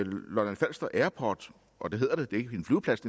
lolland falster airport og det hedder det det er ikke en flyveplads